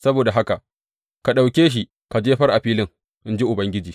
Saboda haka, ka ɗauke shi ka jefar a filin, in ji Ubangiji.